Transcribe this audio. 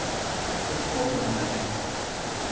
upphrópunarmerki